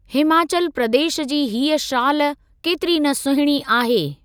हिमाचल प्रदेश जी हीअ शाल केतिरी न सुहिणी आहे।